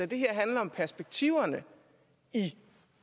det her handler om perspektiverne i